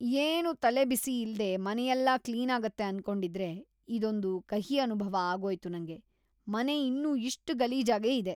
ಏನೂ ತಲೆಬಿಸಿ ಇಲ್ದೇ ಮನೆಯೆಲ್ಲ ಕ್ಲೀನಾಗತ್ತೆ ಅನ್ಕೊಂಡಿದ್ರೆ ಇದೊಂದ್‌ ಕಹಿ ಅನುಭವ ಆಗೋಯ್ತು ನಂಗೆ.. ಮನೆ ಇನ್ನೂ ಇಷ್ಟ್‌ ಗಲೀಜಾಗೇ ಇದೆ.